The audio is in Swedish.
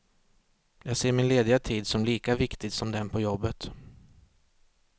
Jag ser min lediga tid som lika viktig som den på jobbet.